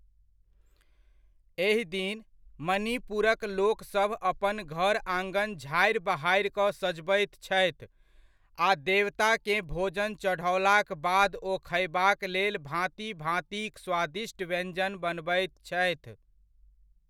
एहि दिन, मणिपुरक लोकसभ अपन घर आङन झाड़ि बहारि कऽ सजबैत छथि आ देवताकेँ भोजन चढ़ओलाक बाद ओ खयबाक लेल भाँति भाँतिक स्वादिष्ट व्यञ्जन बनबैत छथि।